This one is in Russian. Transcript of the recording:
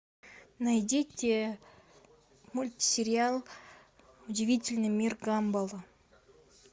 найдите мультсериал удивительный мир гамбола